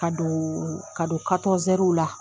Ka dooon ka don